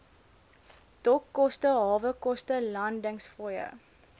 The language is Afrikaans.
dokkoste hawekoste landingsfooie